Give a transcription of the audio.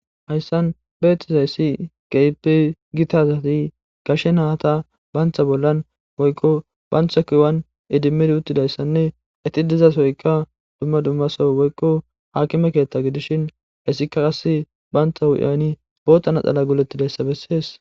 hayssan beethtiza yssi gapi gitazati gashe naata baantha bollan woykko bantha kuuwan idimmid uttidayssanne iti dizasoyka dumma dummaso woykko hakime keethta gidishin hissikka as baantha wu7ayni bootana xala golettidayssabessees